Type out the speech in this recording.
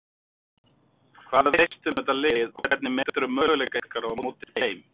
Hvað veistu um þetta lið og hvernig meturðu möguleika ykkar á móti þeim?